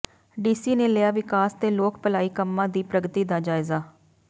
DC ਨੇ ਲਿਆ ਵਿਕਾਸ ਤੇ ਲੋਕ ਭਲਾਈ ਕੰਮਾਂ ਦੀ ਪ੍ਰਗਤੀ ਦਾ ਜਾਇਜ਼ਾ